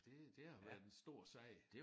Det det har været en stor sag